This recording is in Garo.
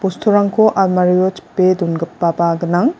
bosturangko almario chipe dongipaba gnang.